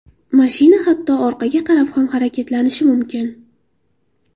Mashina hatto orqaga qarab ham harakatlanishi mumkin.